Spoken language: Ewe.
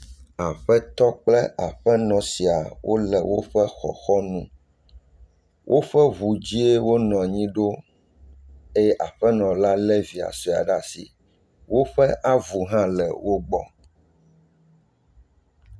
Aƒetɔ kple aƒenɔ sia wole woƒe xɔxɔ nu. Woƒe ŋu dzie wonɔ anyi ɖo eye aƒenɔ la le via sɔe ɖe asi. Woƒe avu hã le wogbɔ.